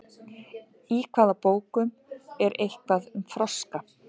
Í hvaða bókum er eitthvað um froska?